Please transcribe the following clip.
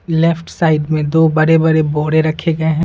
Left side में दो बड़े बड़े बोड़े रखे गए हैं।